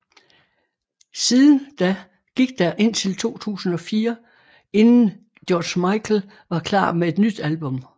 Siden da gik der indtil 2004 inden George Michael var klar med et nyt album